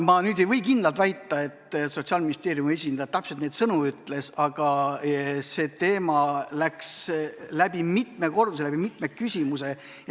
Ma ei või kindlalt väita, et Sotsiaalministeeriumi esindaja täpselt neid sõnu ütles, aga see kõlas läbi mitme korduse, mitmes küsimuses.